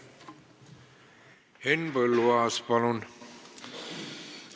Henn Põlluaas, palun!